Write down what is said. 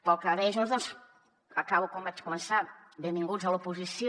pel que deia junts doncs acabo com vaig començar benvinguts a l’oposició